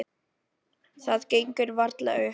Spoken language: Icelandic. Það gengur varla upp.